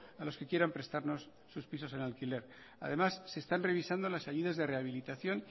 a los que quieran prestarnos sus pisos en alquiler además se están revisando las ayudas de rehabilitación